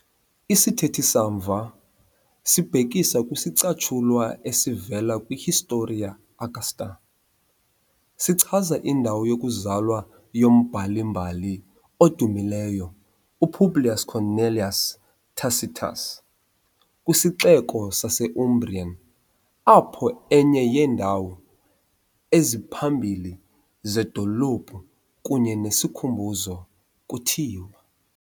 Isithethe samva, sibhekisa kwisicatshulwa esivela kwi- Historia Augusta, sichaza indawo yokuzalwa yombhali-mbali odumileyo u-Publius Cornelius Tacitus kwisixeko sase-Umbrian, apho enye yeendawo eziphambili zedolophu kunye nesikhumbuzo kuthiwa.